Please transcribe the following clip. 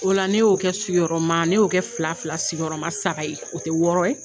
O la ne y'o kɛ sigi yɔrɔma ne y'o kɛ fila fila sigi yɔrɔma saba ye o tɛ wɔɔrɔ ye.